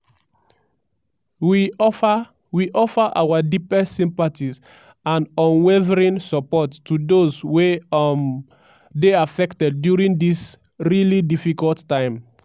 “we offer “we offer our deepest sympathies and unwavering support to those wey um dey affected during dis really difficult time”.